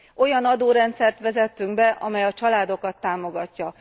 Olyan adórendszert vezettünk be, amely a családokat támogatja.